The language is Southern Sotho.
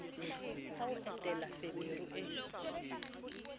sa ho entela feberu e